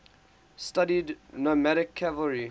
studied nomadic cavalry